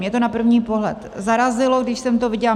Mě to na první pohled zarazilo, když jsem to viděla.